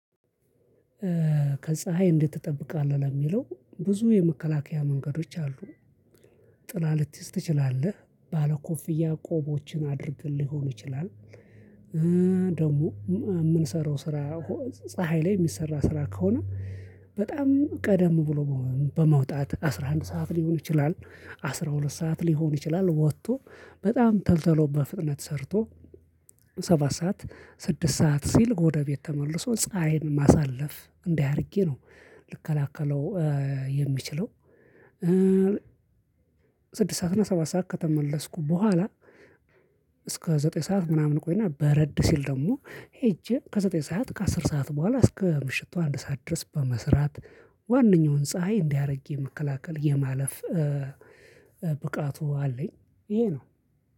ከፀሀይ እንዴት ትጠብቃለህ ለሚለው ብዙ የመከላከያ መንገዶች አሉ። ጥላ ልትይዝ ትችላለህ ባለ ኮፍያ ቆቦችን አድርገ ሊሆን ይችላል። ደግሞ የምንሰራው ስራ ፀሀይ ላይ የሚሰራ ስራ ከሆነ። በጣም ቀደም ብሎ በመውጣት አስራ አንድ ሰዓት ሊሆን ይችላል አስራ ሁለት ሰዓት ሊሆን ይችላል ወጥቶ በጣም ተልተሎ በፍጥነት ሰርቶ ሰባት ሰዓት ስድስት ሰዓት ሲል ወደቤት ተመልሰው ፀሀይን ማሳለፍ እንዳህ አድርጌ ነው። ልከላከለው የሚችለው። ስድስት ሰዓት እና ሰባት ሰዓት ከተመለስኩ በኋላ። እስከ ዘጠኝ ሰዓት ምናምን ቆይና በረድ ሲል ደግሞ ሄጄ ከዘጠኝ ሰዓት ከአስር ሰዓት በኋላ እስከ ምሽቱ አንድ ሰዓት ድረስ በመስራት። ዋናኛውን ፀሀይ እንዲያአደርጌ የመከላከል የማለፍ ብቃቱ አለኝ። ይሄ ነው።